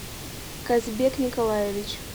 казбек николаевич